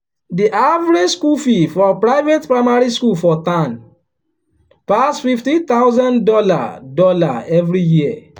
the average school fee for private primary school for town pass fifteen thousand dollar dollar every year.